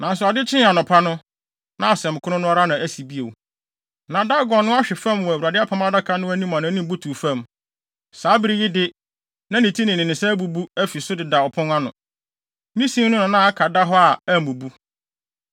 Nanso ade kyee anɔpa no, na asɛm koro no ara asi bio. Na Dagon no ahwe fam wɔ Awurade Apam Adaka no anim a nʼanim butuw fam. Saa bere yi de, na ne ti ne ne nsa abubu afi so deda ɔpon ano. Ne sin no na na aka da hɔ a ammubu.